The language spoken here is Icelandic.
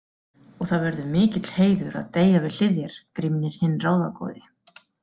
Og það verður mikill heiður að deyja við hlið þér, Grímnir hinn ráðagóði.